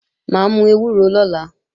Mà á mú ewúro lọ́la